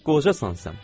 Qocasan sən.